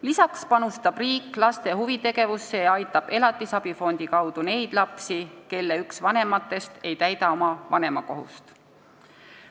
Lisaks panustab riik laste huvitegevusse ja aitab elatisabi fondi kaudu neid lapsi, kelle üks vanematest ei täida oma vanemakohust.